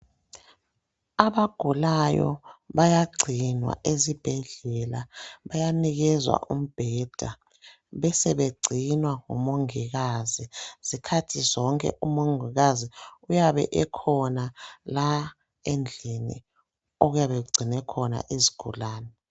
Abagulayo bayagcinwa esibhedlela. Bayanikezwa umbheda, besebegcinwa ngumongikazi. Zikhathi zonke, umongikazi uyabe ekhona la endlini okuyabe kugcinwe khona izigulane.